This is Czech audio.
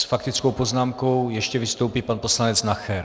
S faktickou poznámkou ještě vystoupí pan poslanec Nacher.